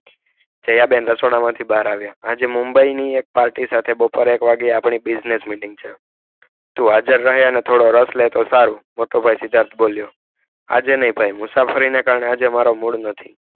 દયા બેન રસોડા માંથી બહાર આવિયા આજે mumbai ની એક party સાથે સાંજે નવ વાગે આપડી business meeting છે તો તું એમાં રસ લે તો સારું ત્યાં સિદ્ધાર્થ બોલિયો આજે નય થઈ મુસાફરી કારણે આજે મારો mood નથી.